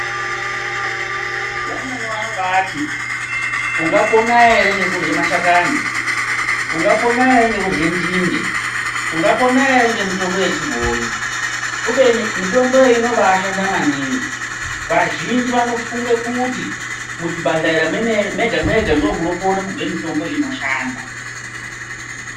Vamweni vanobaati, unga pona ere ngekurye mashakani, ungapona ere ngekurye nzinde, unga pona ere ngemitombo yechibhoyi, kubeni mitomboyo inobaashanda maningi. Vazhinji vanofunge kuti muzvibhadhlera mwemene mwega-mwega ndomunokone kubve mitombo inoshanda.